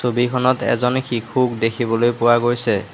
ছবিখনত এজনে শিশুক দেখিবলৈ পোৱা গৈছে।